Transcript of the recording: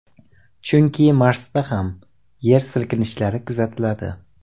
Chunki Marsda ham yer silkinishlari kuzatiladi.